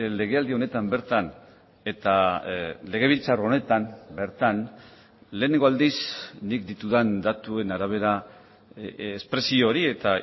lege aldi honetan bertan eta legebiltzar honetan bertan lehenengo aldiz nik ditudan datuen arabera espresio hori eta